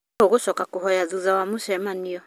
Nũũ ũgũcoka kũhoya thutha wa mũcemanio?